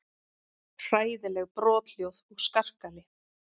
Hræðileg brothljóð og skarkali.